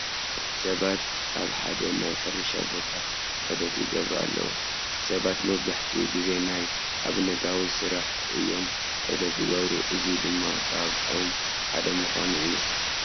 ሰባት ኣብ ሓደ ናይ ሕርሻ ቦታ ዑደት ይገብሩ ኣለዉ፡፡ ሰባት መብዛሕትኡ ግዜ ናብ ኣብነታዊ ስራሕ እዮም ዑደት ዝገብሩ፡፡ እዚ ድማ ካብኦም ሓደ ምዃኑ እዩ፡፡